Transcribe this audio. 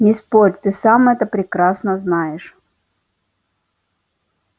не спорь ты сам это прекрасно знаешь